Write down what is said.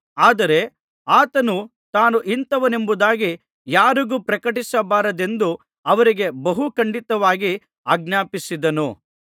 ಆದರೆ ಆತನು ತಾನು ಇಂಥವನೆಂಬುದಾಗಿ ಯಾರಿಗೂ ಪ್ರಕಟಿಸಬಾರದೆಂದು ಅವರಿಗೆ ಬಹು ಖಂಡಿತವಾಗಿ ಆಜ್ಞಾಪಿಸಿದನು